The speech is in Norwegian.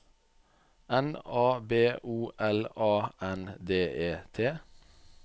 N A B O L A N D E T